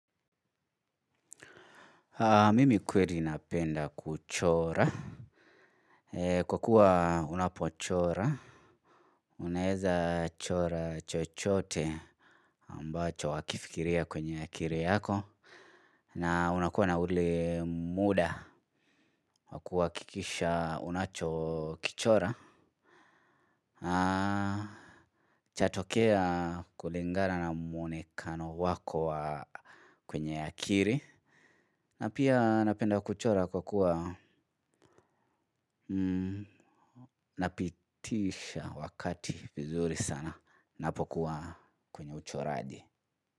Mimi kweli napenda kuchora kwa kuwa unapochora. Unaeza chora chochote ambacho wakifikiria kwenye akiri yako. Na unakuwa na ule muda wa kuwakikisha unacho kichora. Chatokea kulingana na muonekano wako kwenye akiri. Na pia napenda kuchora kwa kuwa napitisha wakati vizuri sana napokuwa kwenye uchoraji.